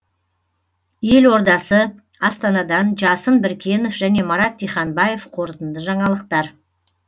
елордасы астанадан жасын біркенов және марат диханбаев қорытынды жаңалықтар